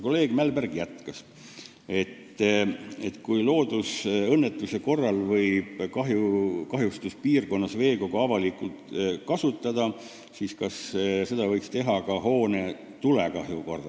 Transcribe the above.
Kolleeg Mälberg jätkas, et kui loodusõnnetuse korral võib kahjustuspiirkonnas veekogu avalikult kasutada, siis kas seda võiks teha ka hoone tulekahju korral.